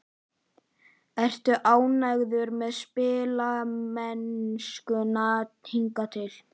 Ertu ánægður með spilamennskuna hingað til?